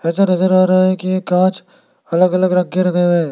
ऐसा नजर आ रहा है कि ये कांच अलग अलग रंग के लगे हुए है।